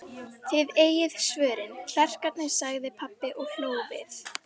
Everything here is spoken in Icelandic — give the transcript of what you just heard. Þið eigið svörin, klerkarnir, sagði pabbi og hló við.